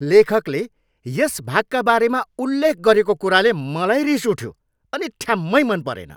लेखकले यस भागका बारेमा उल्लेख गरेको कुराले मलाई रिस उठ्यो अनि ठ्याम्मै मन परेन।